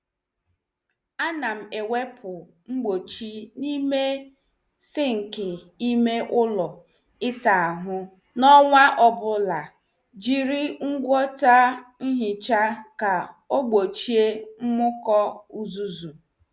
A nam ewepụ ngbochi n' ime sinki ime ụlọ ịsa ahụ n' ọnwa ọbụla, jiri ngwọta nhicha ka ọ gbochie mmuko uzuzu.